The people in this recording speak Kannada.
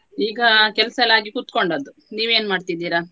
ಈಗ ಕೆಲ್ಸಯೆಲ್ಲಾ ಆಗಿ ಕೂತ್ಕೊಂಡದ್ದು ನೀವು ಏನ್ ಮಾಡ್ತಿದೀರಾ?